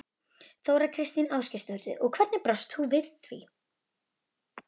Þóra Kristín Ásgeirsdóttir: Og hvernig brást þú við?